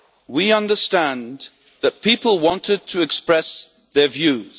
We understand that people wanted to express their views.